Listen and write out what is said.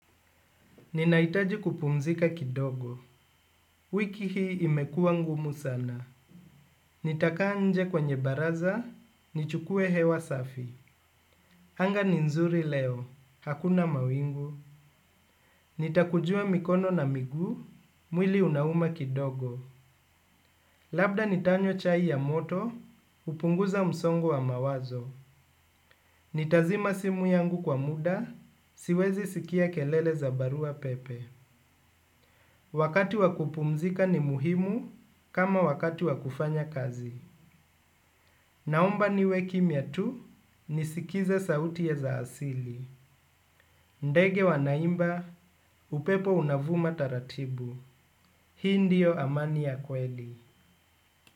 Ninahitaji kupumzika kidogo, wiki hii imekuwa ngumu sana. Nitakaa nje kwenye baraza, nichukuwe hewa safi. Anga ni nzuri leo, hakuna mawingu. Nitakujua mikono na miguu, mwili unauma kidogo. Labda nitanywa chai ya moto, kupunguza msongo wa mawazo. Nitazima simu yangu kwa muda, siwezi sikia kelele za baruapepe. Wakati wakupumzika ni muhimu kama wakati wakufanya kazi. Naomba niwe kimya tu nisikize sauti za asili. Ndege wanaimba, upepo unavuma taratibu. Hii ndio amani ya kweli.